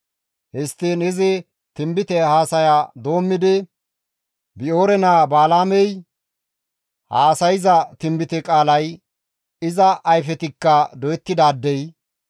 histtiin izi tinbite haasaya doommidi, «Bi7oore naa Balaamey haasayza tinbite qaalay, iza ayfetikka doyettidaadey,